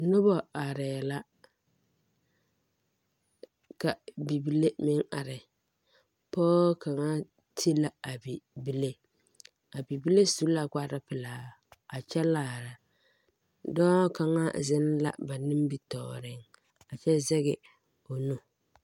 Noba are la ka bibilee meŋ are pɔɔ kaŋa te la a bibilee a bibilee su la kparoŋ pelaa a kyɛ laara dɔɔ kaŋa zeŋ la ba nimitoɔre kyɛ zɛge o nu